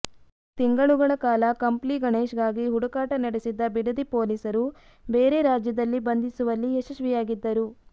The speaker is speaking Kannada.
ತಿಂಗಳುಗಳ ಕಾಲ ಕಂಪ್ಲಿ ಗಣೇಶ್ಗಾಗಿ ಹುಡುಕಾಟ ನಡೆಸಿದ್ದ ಬಿಡದಿ ಪೊಲೀಸರು ಬೇರೆ ರಾಜ್ಯದಲ್ಲಿ ಬಂಧಿಸುವಲ್ಲಿ ಯಶಸ್ವಿಯಾಗಿದ್ದರು